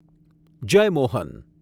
Jayamohan